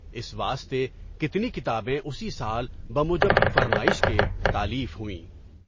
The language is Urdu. اس واسطے کتنی کتابیں اسی سال بموجب فرمائش کے تالیف ہوئیں۔